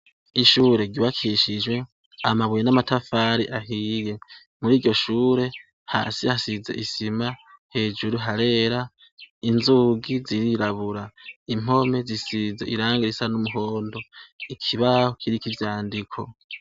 Ishure ryubakishijwe amabuye n'amatafari ahiye muri iryo shure hasi hasize isima hejuru harera inzugi zirirabura impome zisize ibara ryumuhondo ikibaho kiriko ivyandiko.